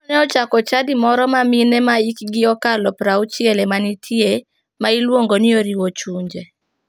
Owino ne ochako chadi moro ma mine ma hikgi okalo 60 emanitie ma iluongo ni oriwo chunje.